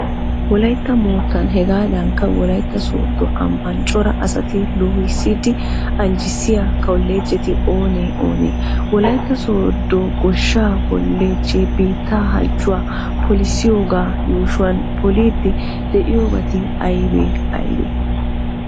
Wolaytta moottan hegaadankka wolaytta sooddo ambban cora asata loohissidi anjjissiya kolloojjeti oonee oonee? Wolaytta sooddo goshshaa kolloojjee biittee halchchuwa polissiyogaa yuushuwan poliiddi de'iyobati aybee aybee?